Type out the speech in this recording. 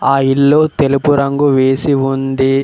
ఆ ఇల్లు తెలుపు రంగు వేసి ఉంది.